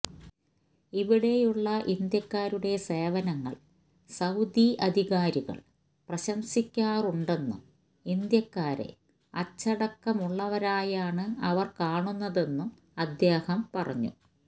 ഇവിടെയുള്ള ഇന്ത്യക്കാരുടെ സേവനങ്ങൾ സൌദി അധികാരികൾ പ്രശംസിക്കാറുണ്ടെന്നും ഇന്ത്യക്കാരെ അച്ചടക്കമുള്ളവരായാണ് അവർ കാണുന്നതെന്നും അദ്ദേഹം പറഞ്ഞു